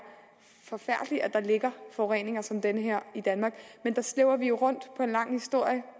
forfærdeligt at der ligger forureninger som den her i danmark men der slæber vi jo rundt på en lang historie